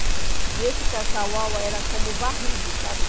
E esse cacauau era como varrido, sabe?